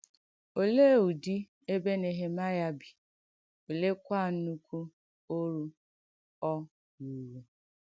Òleè ùdì èbè Nèhèmàịà bì, òlẹèkwà nnùkù òrù ọ̀ rùrù?